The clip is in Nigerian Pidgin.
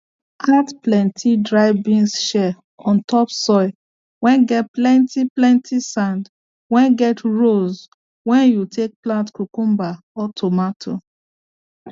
add plenty dry beans shell on top soil whey get plenty plenty sand whey get rows whey you take plant cucumber or tomato